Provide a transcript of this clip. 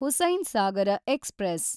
Hussainsagar express